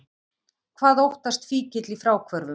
Hvað óttast fíkill í fráhvörfum?